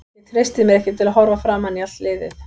Ég treysti mér ekki til að horfa framan í allt liðið.